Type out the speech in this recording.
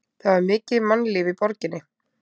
Það var mikið mannlíf í borginni.